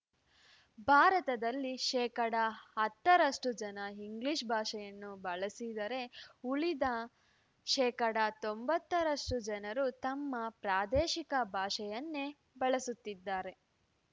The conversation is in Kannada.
ಭಾರತದಲ್ಲಿ ಶೇಕಡಾ ಹತ್ತರಷ್ಟು ಜನ ಇಂಗ್ಲೀಷ್‌ ಭಾಷೆಯನ್ನು ಬಳಸಿದರೆ ಉಳಿದ ಶೇಕಡಾ ತೊಂಬತ್ತರಷ್ಟು ಜನರು ತಮ್ಮ ಪ್ರಾದೇಶಿಕ ಭಾಷೆಯನ್ನೇ ಬಳಸುತ್ತಿದ್ದಾರೆ